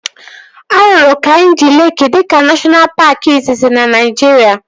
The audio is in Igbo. A rụrụ Kainjị Leeki dịka neshọna paaki izizi na Naijiria